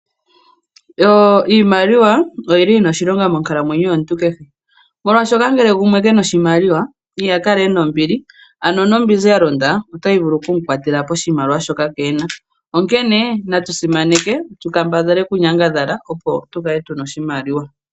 Iimaliwa oyi li yi na oshilonga monkalamwenyo yomuntu kehe molwaashoka ngele gumwe ke na oshimaliwa, iha kala e na ombili. Ano nombinzi ya londa otayi vulu oku mukwatela poshimaliwa shoka keena. Onkene natu simaneke tu kambadhale okunyangadhala opo tu kale tu na oshimaliwa.